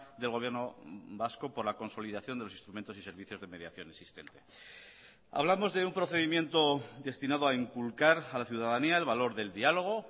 del gobierno vasco por la consolidación de los instrumentos y servicios de mediación existente hablamos de un procedimiento destinado a inculcar a la ciudadanía el valor del diálogo